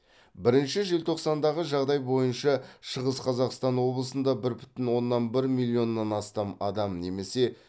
бірінші желтоқсандағы жағдай бойынша шығыс қазақстан облысында бір бүтін оннан бір миллионнан астам адам немесе